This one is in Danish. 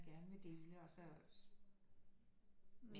Gerne vil dele og så men